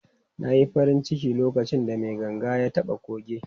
Na yi farin ciki lokacin da mai ganga ya taɓa kuge.